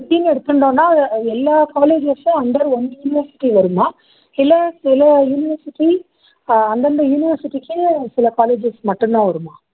எடுத்துண்டோம்னா எல்லா colleges உம் under one university வருமா இல்ல சில university அந்தந்த university க்கு சில colleges மட்டும் தான் வருமா